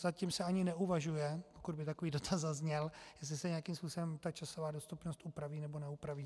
Zatím se ani neuvažuje, pokud by takový dotaz zazněl, jestli se nějakým způsobem ta časová dostupnost upraví nebo neupraví.